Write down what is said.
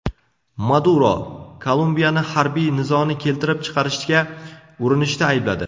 Maduro Kolumbiyani harbiy nizoni keltirib chiqarishga urinishda aybladi.